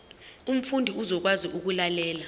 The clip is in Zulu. umfundi uzokwazi ukulalela